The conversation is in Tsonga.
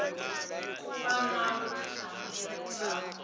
ku va na vutihlamuleri bya